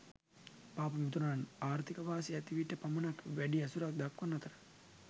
පාප මිතුරන් ආර්ථික වාසි ඇති විට පමණක් වැඩි ඇසුරක් දක්වන අතර